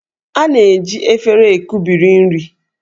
A na-eji éféré ekubiri nri